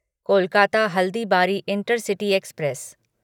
Kolkata Haldibari intercity express